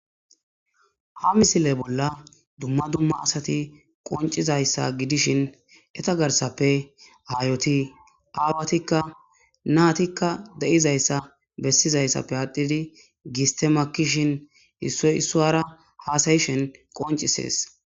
ha misile bolla dumma dumma asati qoncizayssa gidishin eta garsappe aayoti aawatikka naatikka de7izayssa bessizayssappe aadhidi gistemakishin issoy issuwara haasayishin qoncisees